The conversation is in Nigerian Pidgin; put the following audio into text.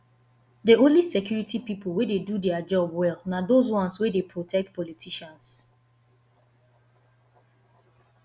the only security people wey dey do dia job well na the ones wey dey protect politicians